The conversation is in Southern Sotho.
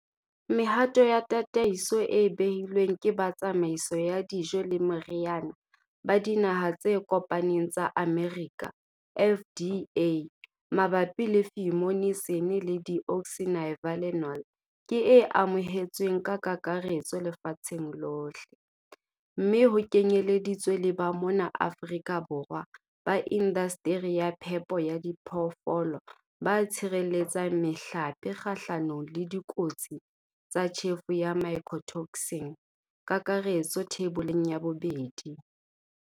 Mehato ya tataiso e behilweng ke ba Tsamaiso ya Dijo le Meriana ba Dinaha tse Kopaneng tsa Amerika, FDA, mabapi le fumonisin le deoxynivalenol ke e amohetsweng ka kakaretso lefatsheng lohle, mme ho kenyeleditswe le ba mona Afrika Borwa ba indasteri ya phepo ya diphoofolo ba tshireletsang mehlape kgahlanong le dikotsi tsa tjhefo ya mycotoxin, kakaretso Theiboleng ya 2.